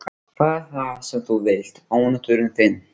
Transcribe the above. Hvað er það sem þú vilt ónáttúran þín?